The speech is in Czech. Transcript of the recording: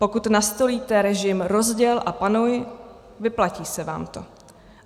Pokud nastolíte režim rozděl a panuj, vyplatí se vám to.